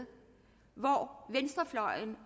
hvor venstrefløjen